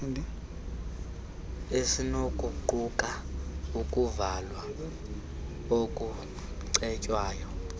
esinokuquka ukuvalwa okucetywayo